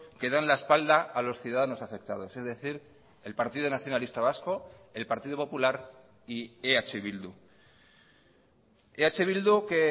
que dan la espalda a los ciudadanos afectados es decir el partido nacionalista vasco el partido popular y eh bildu eh bildu que